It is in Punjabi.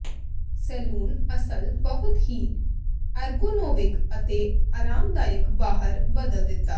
ਸੈਲੂਨ ਅਸਲ ਬਹੁਤ ਹੀ ਐਰਗੋਨੋਵਿਕ ਅਤੇ ਆਰਾਮਦਾਇਕ ਬਾਹਰ ਬਦਲ ਦਿੱਤਾ